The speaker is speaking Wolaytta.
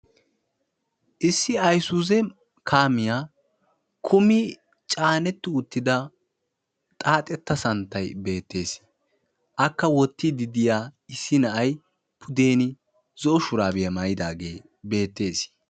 Issi ayisuuze kaamiya kumi caanetti uttida xaaxetta santtayi beettees. Akka wottiiddi diya issi na'ay pudeeni zo'o shuraabiya mayidaagee beettees.